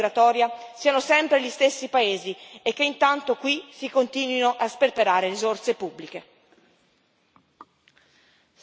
Il rischio è che ad affrontare la sfida migratoria siano sempre gli stessi paesi e che intanto qui si continuino a sperperare risorse pubbliche.